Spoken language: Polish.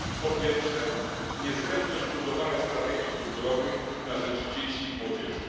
Po pierwsze, niezbędność budowania strategii kulturowych na rzecz dzieci i młodzieży.